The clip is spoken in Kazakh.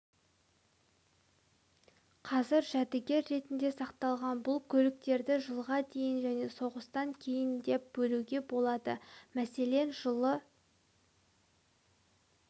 қазір жәдігер ретінде сақталған бұл көліктерді жылға дейін және соғыстан кейін деп бөлуге болады мәселен жылы